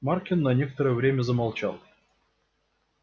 маркин на некоторое время замолчал